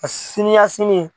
A siniyasini